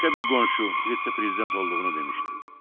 Başqa bir qonşu vitse-prezident olduğunu demişdi.